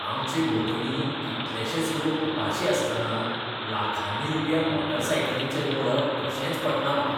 आमचे भोंवतणी कितलेशेंच लोक उपाशी आसतना लाखांनी रुपया मोटरसायकलींचेर मोडप कशेंच पटना म्हाका.